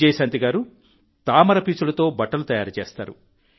విజయశాంతి గారు తామర పీచులతో బట్టలు తయారు చేస్తారు